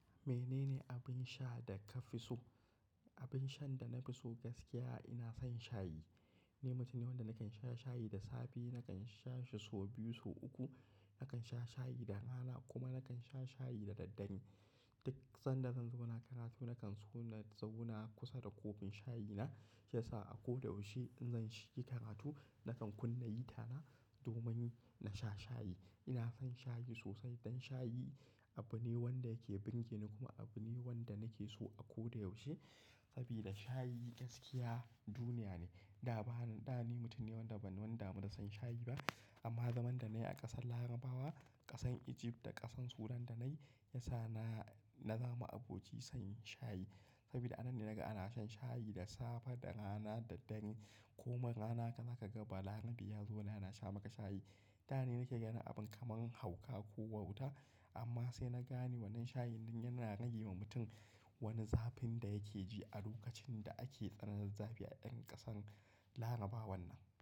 Menene abin sha da ka fi so? Abin shan da na fi so gaskiya ina son shayi. Ni mutum ne wanda nakan sha shayi da safe, nakan sha shi sau biyu sau uku, nakan sha shayi da rana kuma nakan sha shayi da daddare. Duk sanda zan zauna karatu nakan so na zauna kusa da kofin shayi na. Shi yasa a koda yaushe in zan shiga karatu nakan kunna hita na domin na sha shayi. Ina son shayi sosai don shayi abu ne wanda yake birgeni kuma abu ne wanda nake so a koda yaushe. Sabida shayi gaskiya duniya ne. Da ba na, da ni mutum ne wanda ban wani damu da son shayi ba. Amma zaman da na yi a ƙasar Larabawa, ƙasan Egypt da ƙasan Sudan da na yi, ya sa na, na zama aboki son shayi. Sabida anan ne naga ana shan shayi da safe, da rana, da daddare. Komai rana zaka ga balarabe ya zauna yana sha maka shayi. Da ni nake ganin abin kaman hauka ko wauta. Amma sai na gane wannan shayi ɗin yana rage wa mutum wani zafin da yake ji a lokacin da ake tsananin zafi a irin ƙasar Larabawan nan.